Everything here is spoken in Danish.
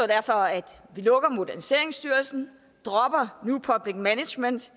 derfor at vi lukker moderniseringsstyrelsen dropper new public management